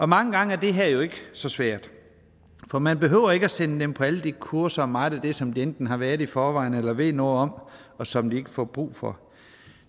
mange gange er det her jo ikke så svært for man behøver ikke at sende dem på alle de kurser og meget af det som de enten har været til i forvejen eller ved noget om og som de ikke får brug for